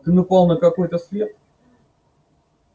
ты напал на какой-то след